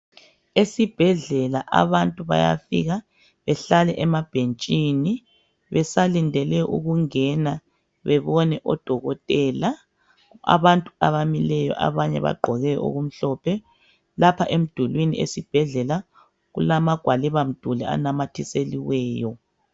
Esibhedlela abantu bayafika behlale emabhentshini besalindele ukungena bebone odokotela abantu abamileyo abanye bagqoke okumhlophe lapha emdulini esibhedlela kulamagwaliba mduli anamathiselweyo.